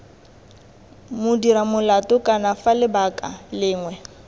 modiramolato kana f lebaka lengwe